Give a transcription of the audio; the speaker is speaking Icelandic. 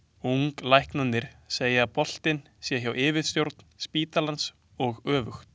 Unglæknarnir segja að boltinn sé hjá yfirstjórn spítalans og öfugt.